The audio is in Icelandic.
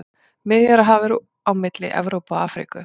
Miðjarðarhaf er á milli Evrópu og Afríku.